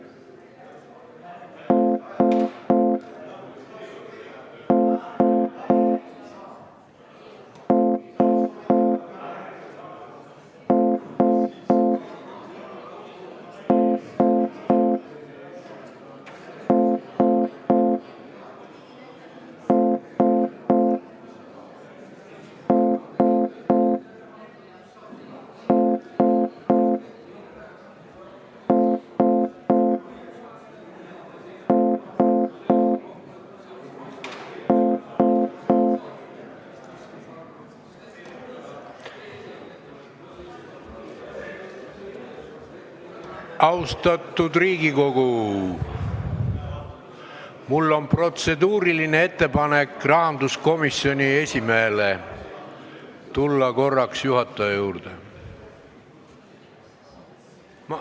Austatud Riigikogu, mul on protseduuriline ettepanek rahanduskomisjoni esimehele tulla korraks juhataja juurde.